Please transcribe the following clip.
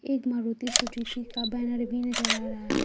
एक मारुती सुजुकी की का बैनर भी नजर आ रहा है।